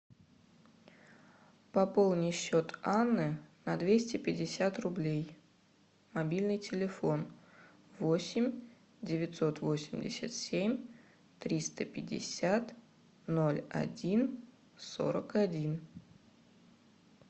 пополни счет анны на двести пятьдесят рублей мобильный телефон восемь девятьсот восемьдесят семь триста пятьдесят ноль один сорок один